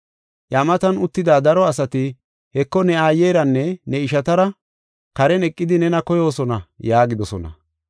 Iya matan uttida daro asati, “Heko, ne aayeranne ne ishatara karen eqidi nena koyoosona” yaagidosona.